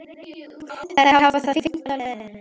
Þær hafa það fínt á leiðinni.